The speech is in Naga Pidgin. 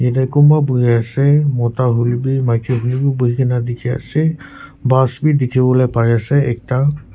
yatae kunba boiase mota hoilae bi maki hoilae bi buhina dikhiase bus bi dikhiwolae parease ekta.